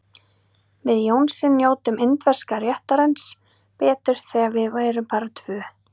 Við Jónsi njótum indverska réttarins betur þegar við erum bara tvö.